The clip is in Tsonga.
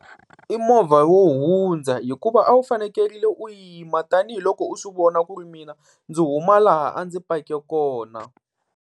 I movha wo hundza, hikuva a wu fanekelerile u yima tanihiloko u swi vona ku ri mina ndzi huma laha a ndzi pake kona.